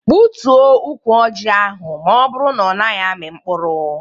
Gbutuo ụkwụ ọjị ahụ maọbụru na ọ naghị ami mkpụrụ!